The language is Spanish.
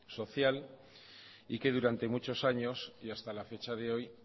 social y que durante muchos años y hasta la fecha de hoy